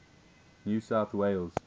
new south wales